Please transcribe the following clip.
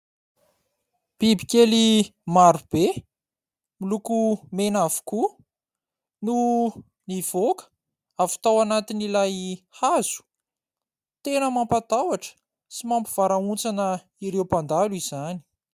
Bibikely marobe miloko mena avokoa no nivoaka avy tao anatin'ilay hazo. Tena mampatahotra sy mampivarahontsana ireo mpandalo izany.